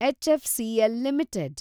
HFCL limited